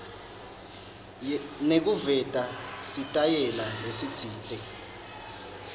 nekuveta sitayela lesitsite